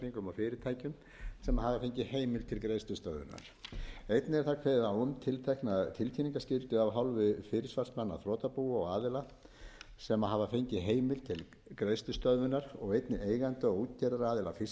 fyrirtækjum sem hafa fengið heimild til greiðslustöðvunar einnig er þar kveðið á um tiltekna tilkynningarskyldu af hálfu fyrirsvarsmanna þrotabúa og aðila sem hafa fengið heimild til greiðslustöðvunar og einnig eigenda og útgerðaraðila fiskiskipa